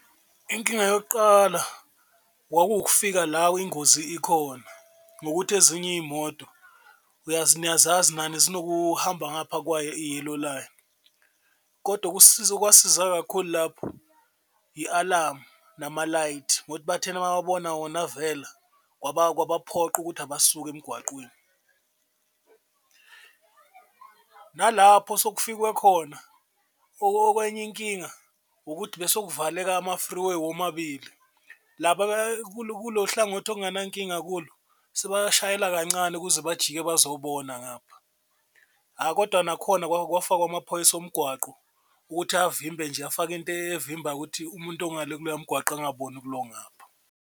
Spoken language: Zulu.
Inkinga yokuqala kwakuwukufika la ingozi ikhona ngokuthi ezinye iy'moto, niyazazi nani zinokuhamba ngapha kwayo i-yellow line. Kodwa okwasiza kakhulu lapho i-alamu nama-light, bathena mababona wona avela kwabaphoqa ukuthi abasuke emgwaqweni. Nalapho osokufikwe khona okwenye inkinga ukuthi bese kuvaleka ama-freeway womabili laba kululo hlangothi okungenankinga kulo sebashayela kancane ukuze bajike bazobona ngapha. Hha, kodwa nakhona kwafakwa amaphoyisa omgwaqo ukuthi avimbe nje, afake into evimba ukuthi umuntu ongale kuloya mgwaqo angaboni kulo ongapha.